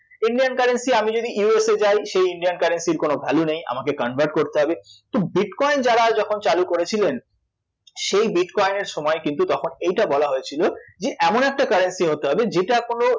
Indian currency আমি যদি USA যাই সেই Indian currency এর কোনো value নেই আমাকে convert করতে হবে তো bitcoin যারা যখন চালু করেছিলেন সেই bitcoin এর সময় কিন্তু তখন এইটা বলা হয়েছিল যে এমন একটা currency হতে হবে যেটা কোনো